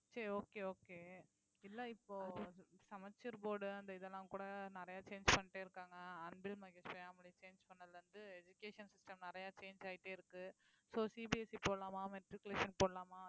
சரி okay okay இல்ல இப்போ சமச்சீர் board அந்த இதெல்லாம் கூட நிறைய change பண்ணிட்டே இருக்காங்க அன்பில் மகேஷ் பொய்யாமொழி change பண்ணதுல இருந்து education system நிறைய change ஆயிட்டே இருக்கு soCBSE போடலாமா matriculation போடலாமா